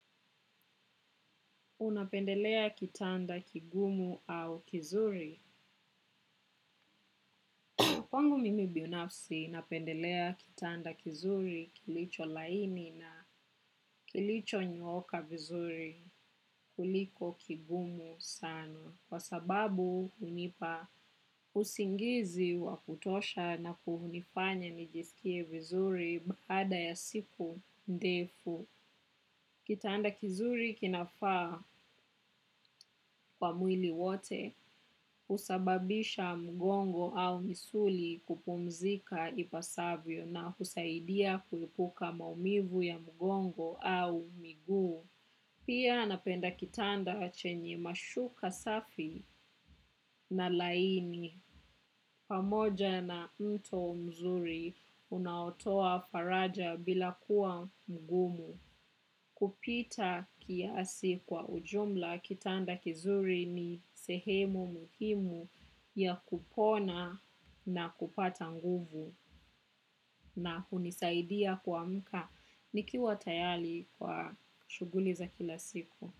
Unapendelea kitanda kigumu au kizuri? Kwangu mimi binafsi napendelea kitanda kizuri kilicho laini na kilichonyooka vizuri kuliko kigumu sana. Kwa sababu, hunipa usingizi wa kutosha na kunifanya nijisikie vizuri baada ya siku ndefu. Kitanda kizuri kinafaa kwa mwili wote, husababisha mgongo au misuli kupumzika ipasavyo na husaidia kuepuka maumivu ya mgongo au miguu. Pia napenda kitanda chenye mashuka safi na laini. Pamoja na mto mzuri unaotoa faraja bila kuwa mgumu. Kupita kiasi kwa ujumla kitanda kizuri ni sehemu muhimu ya kupona na kupata nguvu. Na hunisaidia kuamka nikiwa tayali kwa shughuli za kila siku.